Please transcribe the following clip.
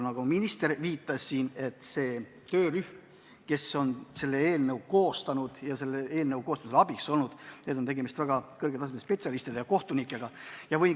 Nagu minister juba viitas, eelnõu koostanud töörühma ja selle koostamisel abiks olnute hulka on kuulunud väga kõrgel tasemel kohtunikud ja muud spetsialistid.